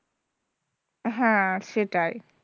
হ্যাঁ সেটাই,